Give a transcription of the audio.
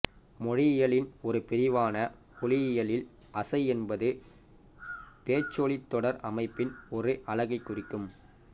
மொழியியலின் ஒரு பிரிவான ஒலியியலில் அசை என்பது பேச்சொலித் தொடர் அமைப்பின் ஓர் அலகைக் குறிக்கும்